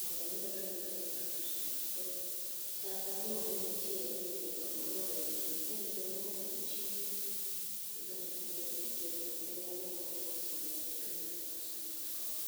mondo mi odonji e piny ar Marsabit. Koro chal ka gima ne nitiere gwenyruok mano bedo e kind ja ndiga mano dong chien n gi joriemb ndiga ariyo mane sedonjo e piny mar Marsabit kocha.